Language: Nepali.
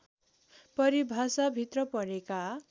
परिभाषाभित्र परेका